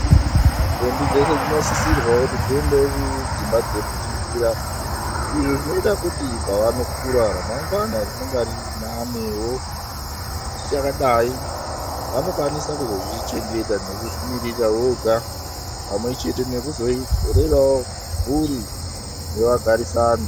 Ndombi dzeshe dzinosisirwawo kuti dziendewo kudzimba dzekudzidzira izvi zvinoita kuti pavanokura ramangwana rinenge riri nanewo zvichakadai vanokwanisa kuzozvichengeta nekuzvimirira voga pamwe chete veirerawo mhuri nevagarisani.